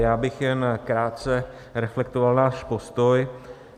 Já bych jen krátce reflektoval náš postoj.